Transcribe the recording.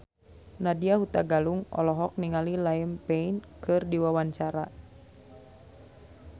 Nadya Hutagalung olohok ningali Liam Payne keur diwawancara